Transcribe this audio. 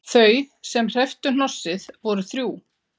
Þau sem hrepptu hnossið voru þrjú